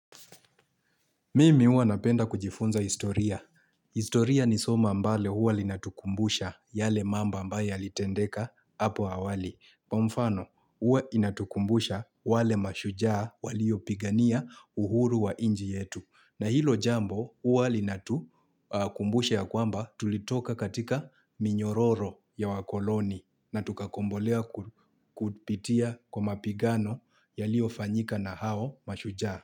Mimi huwa napenda kujifunza historia. Historia ni soma ambalo huwa linatukumbusha yale mambo ambayo yalitendeka hapo awali. Kwa mfano, uwa inatukumbusha wale mashujaa waliopigania uhuru wa inji yetu. Na hilo jambo uwa linatukumbusha ya kwamba tulitoka katika minyororo ya wakoloni na tukakombolea kupitia kwa mapigano yaliofanyika na hao mashujaa.